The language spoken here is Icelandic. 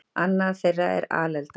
Annað þeirra er alelda.